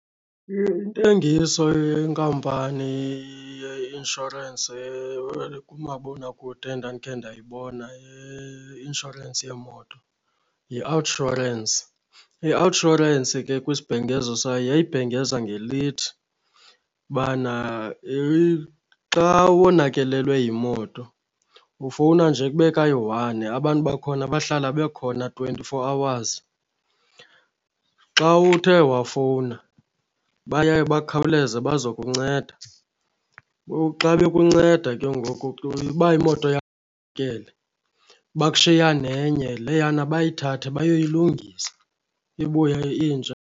Intengiso yenkampani ye-inshorensi kumabonakude endandikhe ndayibona yeinshorensi yeemoto yi-Outsurance. I-Outsurance ke kwisibhengezo sayo yayibhengeza ngelithi ubana xa wonakelelwe yimoto ufowuna nje kube kayi-one abantu bakhona bahlala bekhona twenty-four hours. Xa uthe wafowuna baya bakhawuleze bazokunceda. Ngoku xa bekunceda ke ngoku ke uba imoto yakho bakushiya nenye, leyana bayithathe bayoyilungisa ibuya intsha.